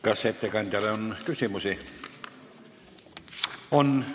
Kas ettekandjale on küsimusi?